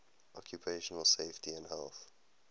occupational safety and health